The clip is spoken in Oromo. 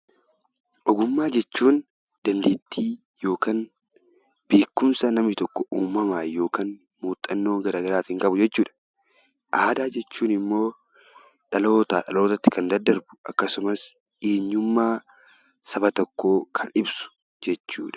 Ogummaa jechuun dandeettii yookiin beekumsa namni tokko uumamaan yookaan muuxannoo gara garaatiin qabu jechuudha. Aadaa jechuun immoo dhalootaa dhalootatti kan daddarbu akkasumas eenyummaa saba tokkoo kan ibsu jechuudha.